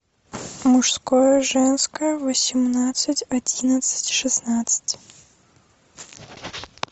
мужское женское восемнадцать одиннадцать шестнадцать